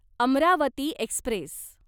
Amravati Express